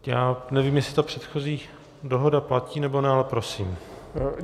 Já nevím, jestli ta předchozí dohoda platí, nebo ne, ale prosím.